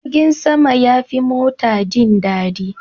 Jirgin sama yafi mota jin dadi.